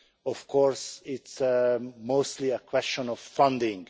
Of course, it is mostly a question of funding.